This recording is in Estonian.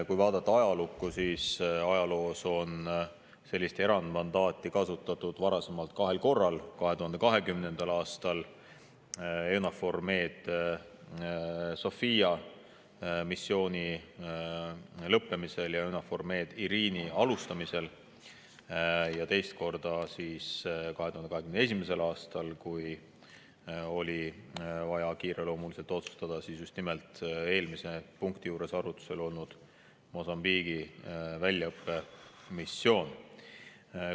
Kui vaadata ajalukku, siis ajaloos on sellist erandmandaati kasutatud varasemalt kahel korral: 2020. aastal EUNAVFOR Med/Sophia missiooni lõppemisel ja EUNAVFOR Med/Irini alustamisel ning teist korda 2021. aastal, kui oli vaja kiireloomuliselt teha otsus just eelmise punkti juures arutusel olnud Mosambiigi väljaõppemissiooni kohta.